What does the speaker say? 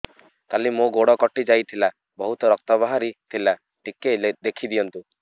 କାଲି ମୋ ଗୋଡ଼ କଟି ଯାଇଥିଲା ବହୁତ ରକ୍ତ ବାହାରି ଥିଲା ଟିକେ ଦେଖି ଦିଅନ୍ତୁ